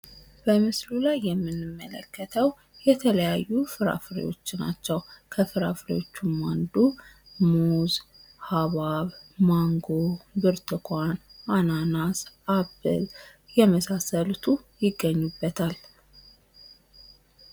በምስሉ ላይ የምንመለከተው የተለያዩ ፍራፍሬዎች ናቸው። ከፍራፍሬዎችም አንዱ፣ ሙዝ፣ ሀብሀብ ፣ማንጎ ፣ብርቱካን ፣አናናስ አፕል የመሳሰሉት ይገኙበታል።